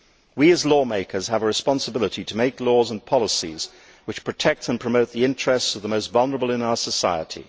We as lawmakers have a responsibility to make laws and policies which protect and promote the interests of the most vulnerable in our society.